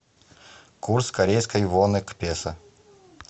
курс корейской воны к песо